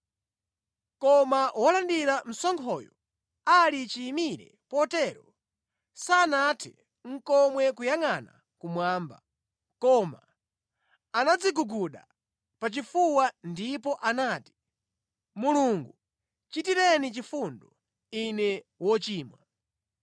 “Koma wolandira msonkhoyo ali chiyimire potero, sanathe nʼkomwe kuyangʼana kumwamba; koma anadziguguda pachifuwa ndipo anati, ‘Mulungu, chitireni chifundo, ine wochimwa.’